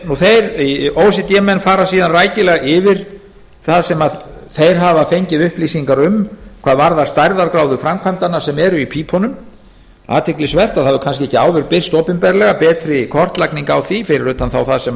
þeir o e c d menn fara síðan rækilega yfir það sem þeir hafa fengið upplýsingar um hvað varðar stærðargráðu framkvæmdanna sem eru í pípunum athyglisvert að það hefur kannski ekki áður birst opinberlega betri kortlagning á því fyrir utan það þá